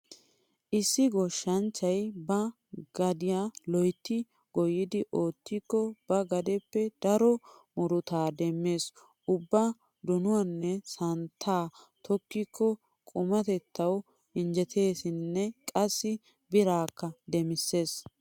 Issi goshshanchchay ba gadiya loytti goyyidi oottikko ba gadeppe daro murutaa demmees. Ubba donuwanne santtaa tokkikko qumatettawuinjjeteesinne qassi biraakka demissees.